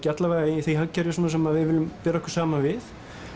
alla vega í því hagkerfi sem við viljum bera okkur saman við